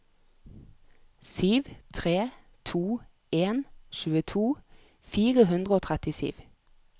sju tre to en tjueto fire hundre og trettisju